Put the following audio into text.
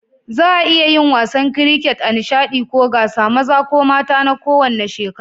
Za'a iya yin wasan kiriket a nishaɗi ko gasa, maza ko mata na kowanne shekaru.